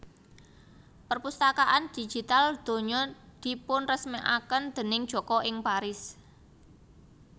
Perpustakaan Digital Donya dipunresmèkaken déning Joko ing Paris